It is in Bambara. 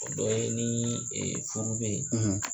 O dɔ ye ni furu bɛ ye.